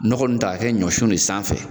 Nɔgɔ nun de ta ka kɛ ɲɔsun de sanfɛ